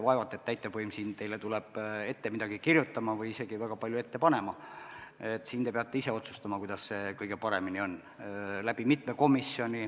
Vaevalt et täitevvõim siin teile tuleb midagi ette kirjutama või isegi väga palju ette panema, te peate ise otsustama, kuidas see kõige parem on.